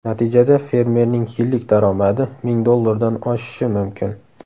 Natijada fermerning yillik daromadi ming dollardan oshishi mumkin.